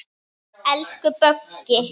Elsku Böggi.